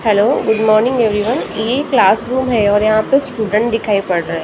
Hello good morning everyone ये classroom है और यहाँ पर स्टूडेंट दिखाई पड़ रहा है।